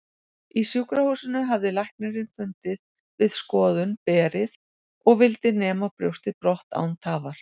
Í sjúkrahúsinu hafði læknirinn fundið við skoðun berið og vildi nema brjóstið brott án tafar.